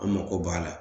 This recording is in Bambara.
An mako b'a la